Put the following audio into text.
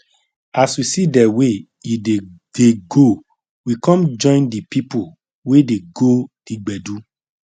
as we see de way e dey dey go we come join the people wey dey go the gbedu